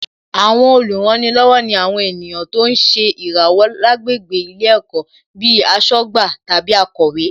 Àwọn olùrànilọ́wọ̀ ni àwọn ènìyàn tó ń ṣe ìràwọ̀ lágbègbè ilé ẹ̀kọ́ bíi aṣọ́gbà tàbí akọ̀wé